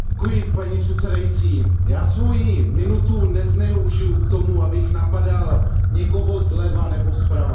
Paní předsedající, já svoji minutu nezneužiju k tomu, abych napadal někoho zleva nebo zprava.